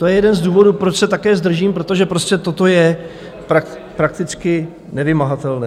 To je jeden z důvodů, proč se také zdržím, protože prostě toto je prakticky nevymahatelné.